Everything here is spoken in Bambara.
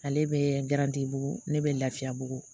Ale bɛ bugu ne bɛ lafiya bugu